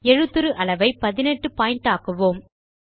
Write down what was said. எழுத்துரு அளவை 18 பாயிண்ட் ஆக்குவோம்